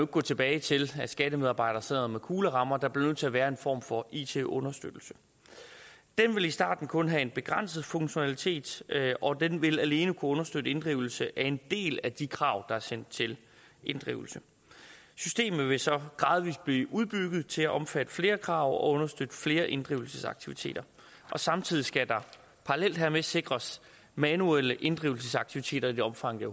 gå tilbage til at skattemedarbejdere sidder med kuglerammer der bliver nødt til at være en form for it understøttelse den vil i starten kun have en begrænset funktionalitet og den vil alene kunne understøtte inddrivelse af en del af de krav der er sendt til inddrivelse systemet vil så gradvis blive udbygget til at omfatte flere krav og understøtte flere inddrivelsesaktiviteter samtidig skal der parallelt hermed sikres manuelle inddrivelsesaktiviteter i det omfang det